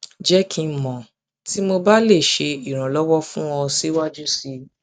jẹ ki n mọ ti mo ba mo ba le ṣe iranlọwọ fun ọ siwaju sii